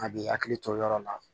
A b'i hakili to yɔrɔ la